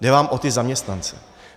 Jde vám o ty zaměstnance.